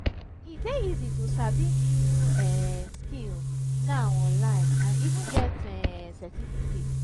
e de easy to sabi new um skill now online and even get um certificate